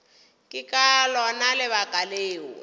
ke ka lona lebaka leo